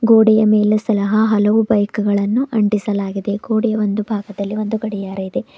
ಗೋಡೆಯ ಮೇಲೆ ಸಹ ಹಲವು ಬೈಕ್ ಗಳನ್ನು ಅಂಟಿಸಲಾಗಿದೆ ಗೋಡೆಯ ಒಂದು ಭಾಗದಲ್ಲಿ ಒಂದು ಗಡಿಯಾರ ಇದೆ.